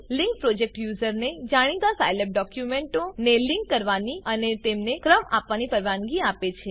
link project યુઝરને જાણીતા Scilab ડોક્યુંમેંટો ને લિંક કરવાની અને તેમને ક્રમ આપવાની પરવાનગી આપે છે